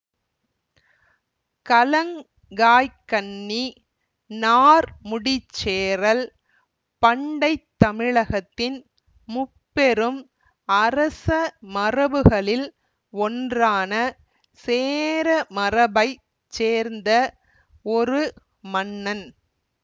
களங்காய்க்கண்ணி நார்முடிச்சேரல் பண்டை தமிழகத்தின் முப்பெரும் அரச மரபுகளில் ஒன்றான சேர மரபை சேர்ந்த ஒரு மன்னன்